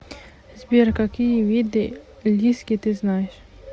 сбер какие виды лиски ты знаешь